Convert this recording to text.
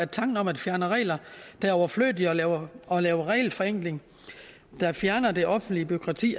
tanken om at fjerne regler der er overflødige og lave og lave regelforenkling der fjerner det offentlige bureaukrati